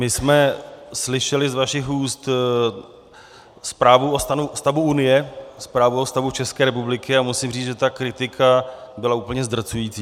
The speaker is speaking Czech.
My jsme slyšeli z vašich úst zprávu o stavu unie, zprávu o stavu České republiky, a musím říct, že ta kritika byla úplně zdrcující.